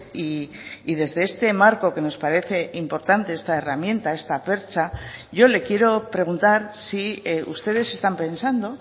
y desde este marco que nos parece importante esta herramienta esta percha yo le quiero preguntar si ustedes están pensando